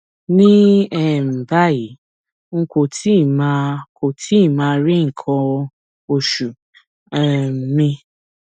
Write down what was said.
ní um báyìí n kò tíì máa kò tíì máa rí nǹkan oṣù um mi